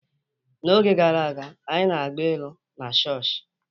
N'oge gara aga, anyị na-agba ilu na chọọchị.